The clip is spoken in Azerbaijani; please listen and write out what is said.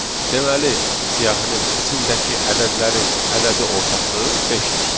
Deməli, siyahının içindəki ədədlərin ədədi ortası beşdir.